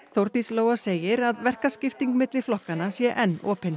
Þórdís Lóa segir að verkaskipting milli flokkanna sé enn opin